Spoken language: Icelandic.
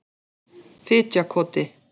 Fitjakoti